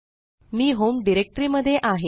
मी home directory मध्ये आहे